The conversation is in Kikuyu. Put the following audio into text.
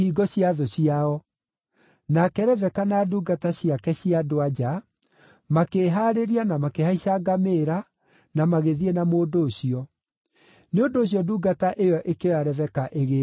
Nake Rebeka na ndungata ciake, cia andũ-a-nja, makĩĩhaarĩria na makĩhaica ngamĩĩra, na magĩthiĩ na mũndũ ũcio. Nĩ ũndũ ũcio ndungata ĩyo ĩkĩoya Rebeka ĩgĩĩthiĩra.